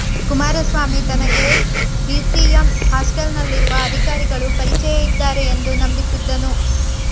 ಕುಮಾರಸ್ವಾಮಿ ತನಗೆ ಬಿಸಿಎಂ ಹಾಸ್ಟೆಲ್ನಲ್ಲಿರುವ ಅಧಿಕಾರಿಗಳು ಪರಿಚಯ ಇದ್ದಾರೆ ಎಂದು ನಂಬಿಸಿದ್ದನು